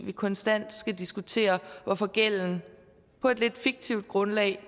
vi konstant skal diskutere hvorfor gælden på et lidt fiktivt grundlag